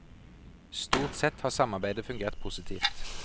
Stort sett har samarbeidet fungert positivt.